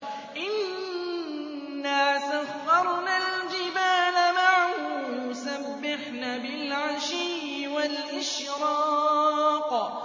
إِنَّا سَخَّرْنَا الْجِبَالَ مَعَهُ يُسَبِّحْنَ بِالْعَشِيِّ وَالْإِشْرَاقِ